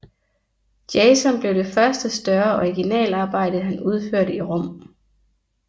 Jason blev det første større originalarbejde han udførte i Rom